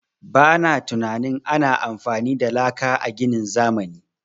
Ba na tunanin ana amfani da laka a ginin zamani.